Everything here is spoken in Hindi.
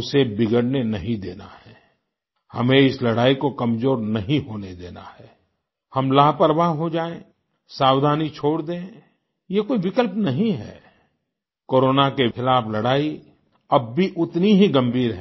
उसे बिगड़ने नहीं देना है आई हमें इस लड़ाई को कमज़ोर नहीं होने देना है आई हम लापरवाह हो जाएँ सावधानी छोड़ दें ये कोई विकल्प नहीं है आई कोरोना के खिलाफ़ लड़ाई अब भी उतनी ही गंभीर है